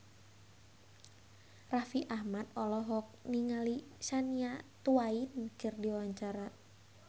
Raffi Ahmad olohok ningali Shania Twain keur diwawancara